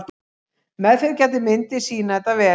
Meðfylgjandi myndir sýna þetta vel.